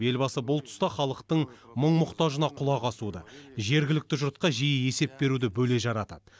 елбасы бұл тұста халықтың мұң мұқтажына құлақ асуды жергілікті жұртқа жиі есеп беруді бөле жара атады